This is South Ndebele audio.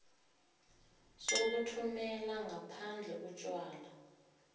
sokuthumela ngaphandle utjwala